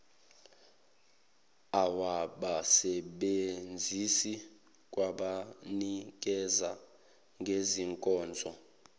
lwabasebenzisi kwabanikeza ngezinkonzo